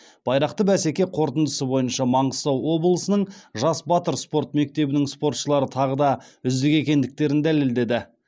байрақты бәсеке қорытындысы бойынша маңғыстау облысының жас батыр спорт мектебінің спортшылары тағы да үздік екендіктерін дәлелдеді